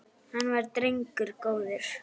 Hann var drengur góður